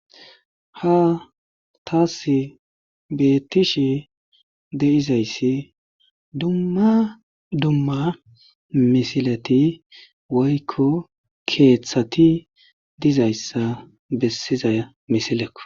Ha taassi beettishe de7izayssi dumma dumma misileti woykko keethati dizayssa bessiza misilekko.